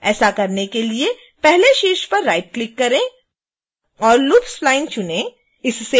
ऐसा करने के लिए पहले शीर्ष पर राइटक्लिक करें और loop spline चुनें